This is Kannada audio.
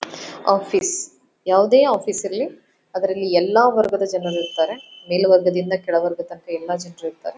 ಆಫೀಸ್ ಯಾವುದೇ ಆಫೀಸ್ ಯಲ್ಲಿ ಅಲ್ಲಿ ಎಲ್ಲ ವರ್ಗದ ಜನರು ಇರ್ತಾರೆ ಮೇಲುವರ್ಗದಿಂದ ಕೆಲವರ್ದವರು ಎಲ್ಲ ಜನರು ಇರ್ತಾರೆ.